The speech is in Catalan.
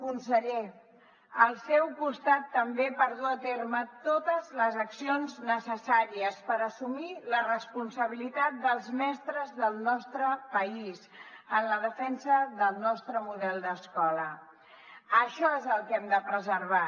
conseller al seu costat també per dur a terme totes les accions necessàries per assumir la responsabilitat dels mestres del nostre país en la defensa del nostre model d’escola això és el que hem de preservar